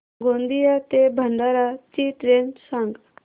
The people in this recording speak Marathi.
गोंदिया ते भंडारा ची ट्रेन सांग